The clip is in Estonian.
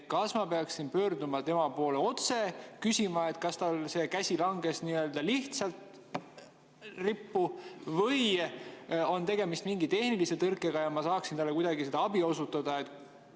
Kas ma peaksin pöörduma tema poole otse ja küsima, kas tal käsi langes lihtsalt rippu või on tegemist mingi tehnilise tõrkega ja ma saaksin talle kuidagi abi osutada?